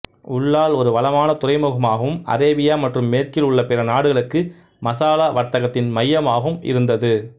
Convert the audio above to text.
உல்லால் ஒரு வளமான துறைமுகமாகவும் அரேபியா மற்றும் மேற்கில் உள்ள பிற நாடுகளுக்கு மசாலா வர்த்தகத்தின் மையமாகவும் இருந்தது